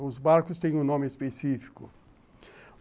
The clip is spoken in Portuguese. Os barcos têm um nome específico.